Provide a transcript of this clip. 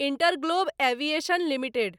InterGlobe Aviation limited